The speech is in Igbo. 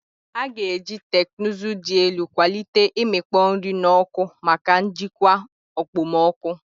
A ga-eji teknụzụ dị elu kwalite imikpo nri n'oku maka njikwa okpomọkụ.